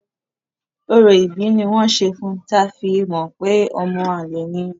Orò ìbí ni wọ́n ṣe fun ta fi mọ pé ọmọ àlè ni.